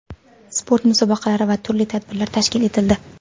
sport musobaqalari va turli tadbirlar tashkil etildi.